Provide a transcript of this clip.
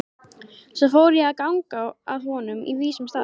Svo fór ég að ganga að honum á vísum stað.